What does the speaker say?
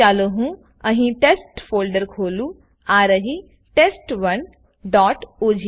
ચાલો હું અહી ટેસ્ટ ફોલ્ડર ખોલુંઆ રહી test1ઓજીવી